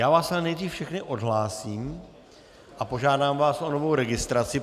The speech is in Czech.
Já vás ale nejdřív všechny odhlásím a požádám vás o novou registraci.